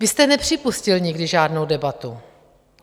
Vy jste nepřipustil nikdy žádnou debatu.